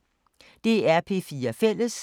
DR P4 Fælles